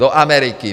Do Ameriky.